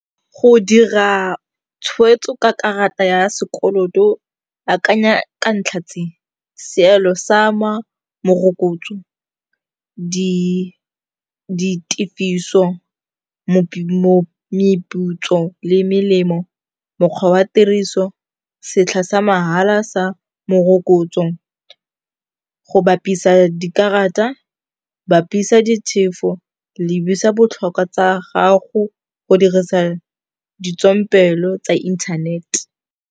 Go dira tshweetso ka karata ya sekoloto, akanya ka ntlha tse, seelo sa morokotso, ditefiso, meputso le melemo, mokgwa wa tiriso, setlha sa mahala sa morokotso, go bapisa dikarata, bapisa ditefo, lebisa botlhokwa tsa gago, go dirisa ditswampelo tsa internet.